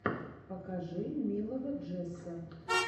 покажи милого джесса